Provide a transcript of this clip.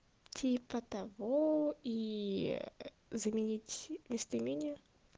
типа того и заменить местоимение